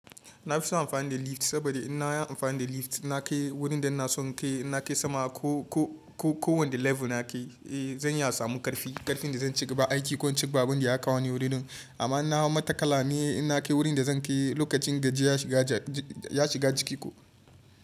Na fi son amfani da lift saboda in na yi amfani da lift ina kai wurin da ina son kai. In na kai sama ko, ko, ko, ko wanda level na kai, eh zan iya samun ƙarfi. Ƙarfin da zan cigaba aiki ko in cigaba abun da ya kawo ni wuri din. Amma in na hau matakala ni inna kai wurin da zan kai lokacin gajiya ya shiga jiki koh.